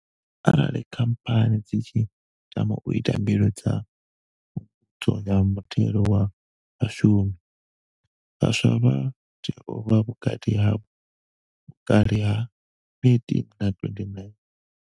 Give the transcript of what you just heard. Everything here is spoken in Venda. Arali Khamphani dzi tshi tama u ita mbilo dza Phungudzo ya Muthelo wa Vhashumi, vhaswa vha tea u vha vhukati ha vhukale ha 18 na 29.